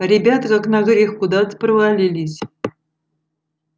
а ребята как на грех куда то провалились